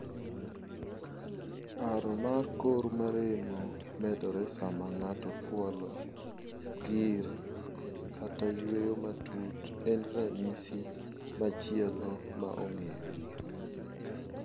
Paro mar kor maremo medore sama ng�ato fuolo, gir, kata yueyo matut en ranyisi machielo ma ong'ere.